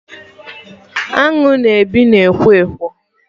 Aṅụ na-ebi na ekwo Ekwo